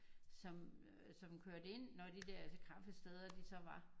Som øh som kørte ind når de der kaffesteder de så var